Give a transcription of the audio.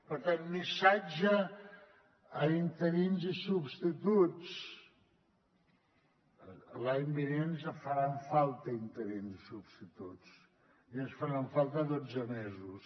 per tant missatge a interins i substituts l’any vinent ens en faran falta interins i substituts i ens faran falta dotze mesos